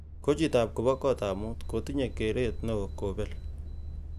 Kochitop kobo kotab mut kotinyei keret neo kobel